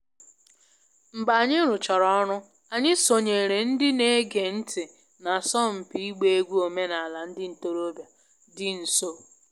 Mgbe anyị rụchara ọrụ, anyị sonyeere ndị na-ege ntị n’asọmpi ịgba egwú omenala ndị ntorobịa dị nso